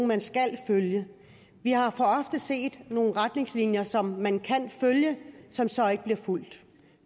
man skal følge vi har for ofte set nogle retningslinjer som man kan følge som så ikke bliver fulgt